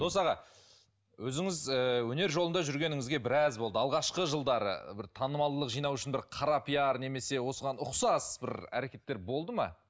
дос аға өзіңіз ііі өнер жолында жүргеніңізге біраз болды алғашқы жылдары бір танымалдылық жинау үшін бір қара пиар немесе осыған ұқсас бір әрекеттер болды ма